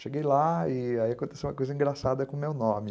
Cheguei lá e aí aconteceu uma coisa engraçada com o meu nome.